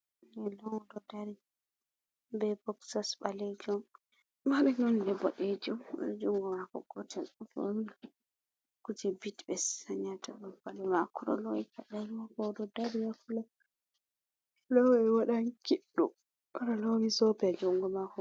je lawdo dari be boksas ɓalejum mabe nonde boɗejum jungo mako gotel fori kuje bitt ɓe sanyata ɗum baluma o ɗo lowi kala mako ɗo dari yaflo waɗan kiddu o ɗo lowi zobe jungo mako.